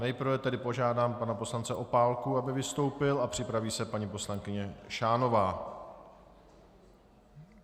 Nejprve tedy požádám pana poslance Opálku, aby vystoupil, a připraví se paní poslankyně Šánová.